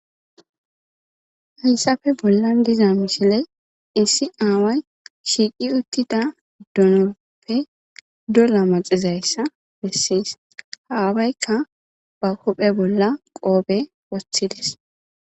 hayssafe bollan diza misile issi aaway shiiqi uttida dunoppe dolla maxizayssa bessis haawaykka ba kophe bolla qoobe wosthilis